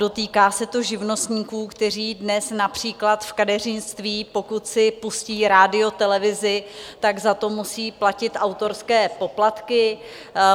Dotýká se to živnostníků, kteří dnes například v kadeřnictví, pokud si pustí rádio, televizi, tak za to musí platit autorské poplatky.